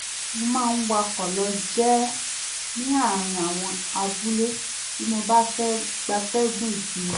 mo máa ń wakọ̀ lọ jẹ́ ní àárín àwọn abúlé bí mo bá fẹ́ gbatẹ́gùn ìsinmi